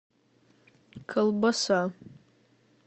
колбаса